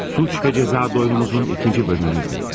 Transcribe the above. Suç ve ceza doyunumuzun ikinci bölümünü dinlədiniz.